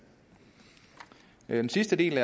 den sidste del